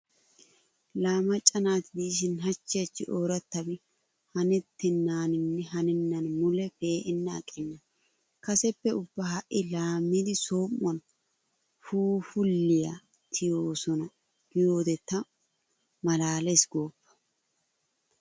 Laa macca naati diishin hachchi hachchi oorattabi hanettennaaninne hanennan mule pee'enna aqenna. Kaseppe ubba ha"i laamidi som"uwan phuuphulliya tiyettoosona giyode ta malaalees gooppa.